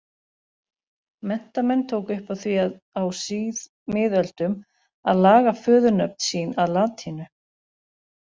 Menntamenn tóku upp á því á síðmiðöldum að laga föðurnöfn sín að latínu.